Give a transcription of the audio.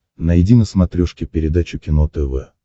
найди на смотрешке передачу кино тв